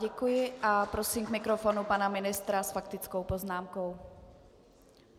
Děkuji a prosím k mikrofonu pana ministra s faktickou poznámkou.